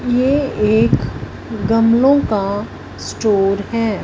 ये एक गमलों का स्टोर हैं।